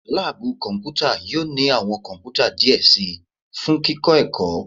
Laabu kọnputa yoo ni awọn kọnputa diẹ sii fun kikọ ẹkọ